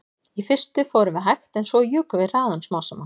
Í fyrstu fórum við hægt en svo jukum við hraðann smám saman